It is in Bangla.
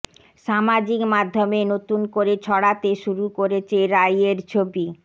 সামাজিক মাধ্যমে নতুন করে ছড়াতে শুরু করেছে রাইয়ের ছবি